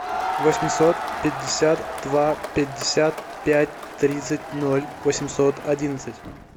восемьсот пятьдесят два пятьдесят пять тридцать ноль восемьсот одиннадцать